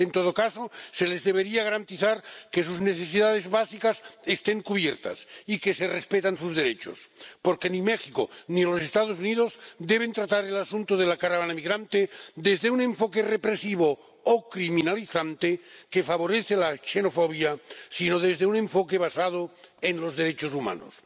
En todo caso, se les debería garantizar que sus necesidades básicas estén cubiertas y que se respetan sus derechos, porque ni México ni los Estados Unidos deben tratar el asunto de la caravana migrante desde un enfoque represivo o criminalizador, que favorece la xenofobia, sino desde un enfoque basado en los derechos humanos.